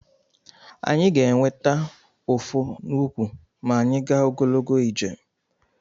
Anyị ga-enweta ụfụ n'ụkwụ ma anyị gaa ogologo ije.